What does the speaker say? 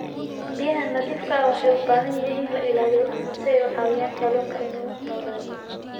Biyaha nadiifka ah waxay u baahan yihiin in la ilaaliyo si ay u caawiyaan kalluunka inuu noolaado.